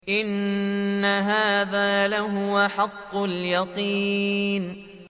إِنَّ هَٰذَا لَهُوَ حَقُّ الْيَقِينِ